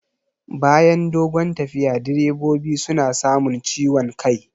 Bayan dogon tafiya direbobi suna samun ciwon kai